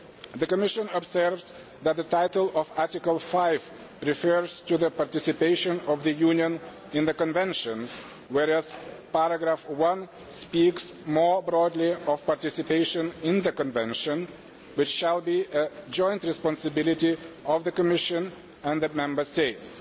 The Commission observes that the title of Article 5 refers to the participation of the Union in the Convention, whereas paragraph 1 speaks more broadly of participation in the Convention, which shall be a joint responsibility of the Commission and the Member States.